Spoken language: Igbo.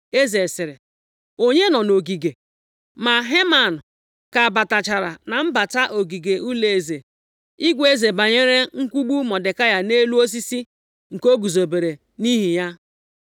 Eze sịrị, “Onye nọ nʼogige?” Ma Heman ka batachara na mbata ogige ụlọeze, ịgwa eze banyere mkwugbu Mọdekai nʼelu osisi nke o guzobere nʼihi ya.